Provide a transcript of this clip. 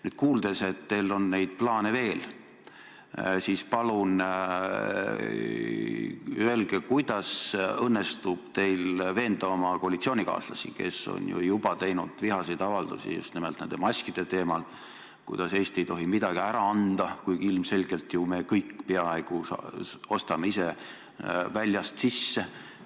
Nüüd, kuna me kuulsime, et teil on neid plaane veel, palun öelge, kuidas õnnestub teil veenda oma koalitsioonikaaslasi, kes on ju juba teinud vihaseid avaldusi just nimelt nende maskide teemal, kuidas Eesti ei tohi midagi ära anda, kuigi ilmselgelt me ise ostame peaaegu kõik väljast sisse.